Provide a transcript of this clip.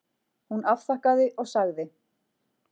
Hún afþakkaði og sagði